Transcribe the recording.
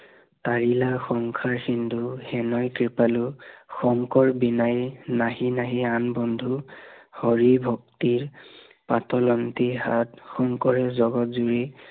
তাৰিলা সংসাৰ সিন্দুৰ, সেনয় কৃপালু, শংকৰ বিনাই নাহি নাহি বন্ধু, হৰি ভক্তিৰ পাতলান্তি হাত। শংকৰে জগত জুৰি